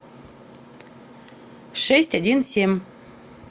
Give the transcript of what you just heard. шесть один семь